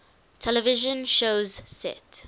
television shows set